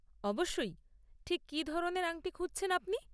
অবশ্যই, ঠিক কী ধরনের আংটি খুঁজছেন আপনি?